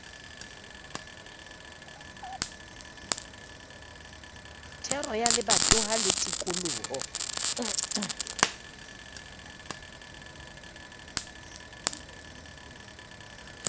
thero ya lebatowa le tikoloho